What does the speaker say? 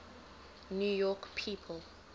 new york people